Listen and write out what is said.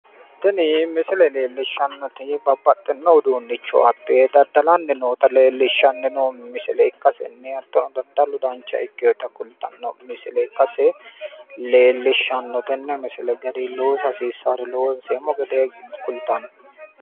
tini misile leeellishshannoti babbaxxino dani uduunnicho abbe daddalanni noota leellishshanno misilenna daddalu dancha ikkinota kultanno misile ikkase leellishshanno.